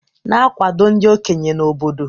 Na-akwado ndị okenye na obodo.